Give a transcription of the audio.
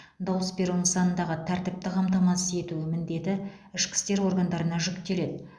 дауыс беру нысанындағы тәртіпті қамтамасыз ету міндеті ішкі істер органдарына жүктеледі